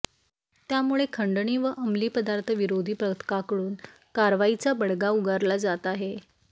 त्यामुळे खंडणी व अंमली पदार्थ विरोधी पथकाकडून कारवाईचा बडगा उगारला जात आहे